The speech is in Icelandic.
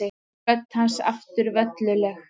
Rödd hans aftur velluleg.